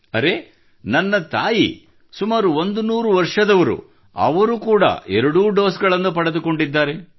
ಅರೆ ನನ್ನ ತಾಯಿ ಸುಮಾರು 100 ವರ್ಷದವರು ಅವರು ಕೂಡಾ ಎರಡೂ ಡೋಸ್ ಗಳನ್ನು ಪಡೆದುಕೊಂಡಿದ್ದಾರೆ